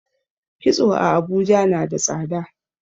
kitso a Abuja nada tsada